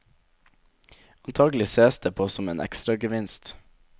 Antagelig sees det på som en ekstragevinst.